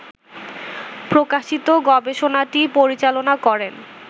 প্রকাশিত গবেষণাটি পরিচালনা করেন